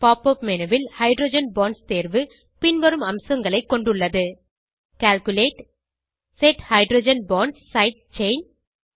pop up menu ல் hydrogen bonds தேர்வு பின்வரும் அம்சங்களை கொண்டுள்ளது calculate set hydrogen bonds side chain